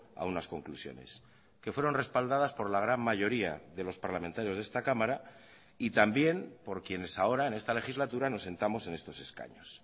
a unas conclusiones que fueron respaldadas por la gran mayoría de los parlamentarios de esta cámara y también por quienes ahora en esta legislatura nos sentamos en estos escaños